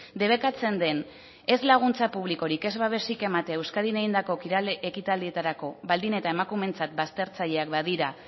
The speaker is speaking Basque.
debekatzen den ez laguntza publikorik ez babesik ematea euskadin egindako kirol ekitaldietarako baldin eta emakumeentzat baztertzaileak badira